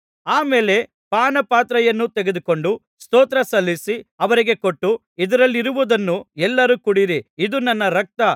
ಆ ಮೇಲೆ ಪಾನಪಾತ್ರೆಯನ್ನು ತೆಗೆದುಕೊಂಡು ಸ್ತೋತ್ರಸಲ್ಲಿಸಿ ಅವರಿಗೆ ಕೊಟ್ಟು ಇದರಲ್ಲಿರುವುದನ್ನು ಎಲ್ಲರೂ ಕುಡಿಯಿರಿ ಇದು ನನ್ನ ರಕ್ತ